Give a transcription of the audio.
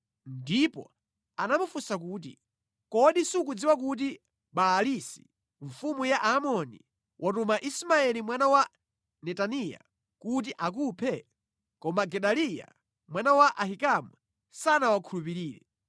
ndipo anamufunsa kuti, “Kodi sukudziwa kuti Baalisi mfumu ya Aamoni watuma Ismaeli mwana wa Netaniya kuti akuphe?” Koma Gedaliya mwana wa Ahikamu sanawankhulupirire.